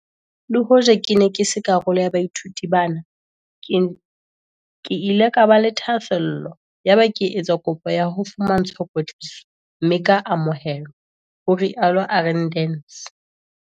"Le hoja ke ne ke se karolo ya baithuti bana, ke ile ka ba le thahasello yaba ke etsa kopo ya ho fumantshwa kwetliso mme ka amohelwa," ho rialo Arendse.